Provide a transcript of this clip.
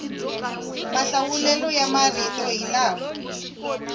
mahlawulelo ya marito hi lama